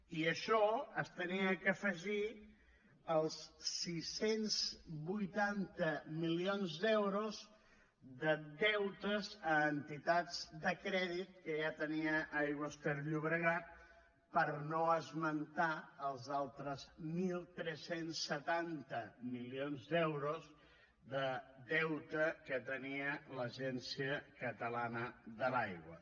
i això s’havia d’afegir als sis cents i vuitanta milions d’euros de deutes a entitats de crèdit que ja tenia aigües ter llobregat per no esmentar els altres tretze setanta milions d’euros de deute que tenia l’agència catalana de l’aigua